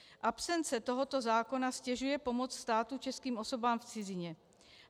Absence tohoto zákona ztěžuje pomoc státu českým osobám v cizině.